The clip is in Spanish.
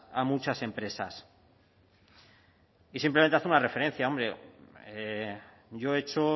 a muchas empresas y simplemente hacer una referencia hombre yo he hecho